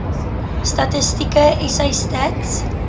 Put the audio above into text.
statistieke sa stats